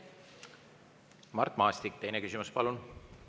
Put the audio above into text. Mart Maastik, teine küsimus, palun!